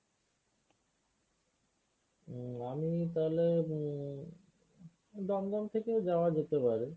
উম আমি তাহলে উম দমদম থেকেই যাওয়া যেতে পারে।